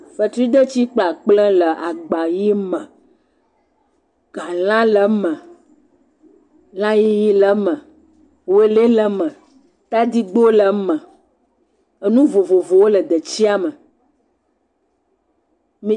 Fetri detsi kple akple wo le agbayi me. Galã le eme, lã yiyi le eme, wele le eme, tadigbɔ le eme, enu vovovowo le detsia me.